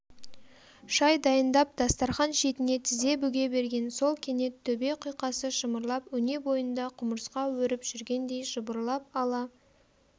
шай дайындап дастарқан шетіне тізе бүге берген сол кенет төбе құйқасы шымырлап өнебойында құмырсқа өріп жүргендей жыбырлап ала